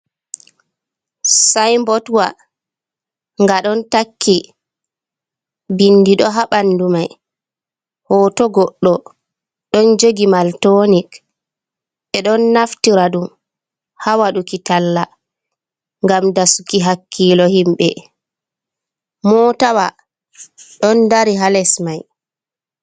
"Sainbotwa"nga ɗon takki bindi ɗo ha ɓandu mai hoto goɗɗo ɗon jogi maltonik ɓeɗo naftira ɗum ha waɗuki talla ngam daa suki hakkilo himɓe mootawa ɗon dari ha les mai.